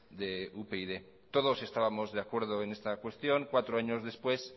de upyd todos estábamos de acuerdo en esta cuestión cuatro años después